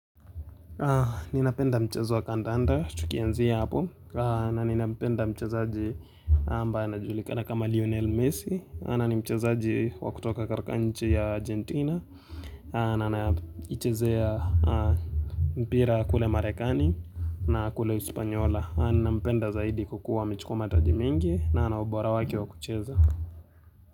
Ninapenda mchezo wa kandanda tukianzia hapo na ninampenda mchezaji ambaye anajulikana kama Lionel Messi maana ni mchezaji wa kutoka katika nchi ya Argentina Anaichezea mpira kule Marekani na kule Espanyola ninampenda zaidi kwakuwa amechukua mataji mengi na anaubora wake wa kucheza.